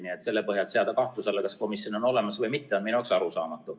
Nii et selle põhjal see, kui seatakse kahtluse alla, kas komisjon on olemas või mitte, on minu jaoks arusaamatu.